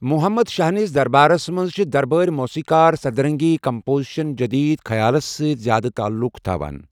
محمد شاہ نِس دربارَس منٛز چھِ دربٲرۍ موسیقار سدرنگٕنۍ کمپوزیشن جدیٖد خیالَس سۭتۍ زِیٛادٕ تعلُق تھاوان۔